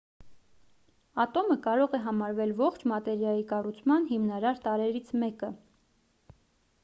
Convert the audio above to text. ատոմը կարող է համարվել ողջ մատերիայի կառուցման հիմնարար տարրերից մեկը